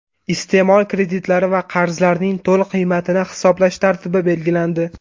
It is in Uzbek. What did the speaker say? Iste’mol kreditlari va qarzlarining to‘liq qiymatini hisoblash tartibi belgilandi.